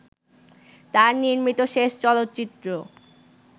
তার নির্মিত শেষ চলচ্চিত্র